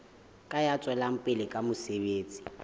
ya tswelang pele ka mosebetsi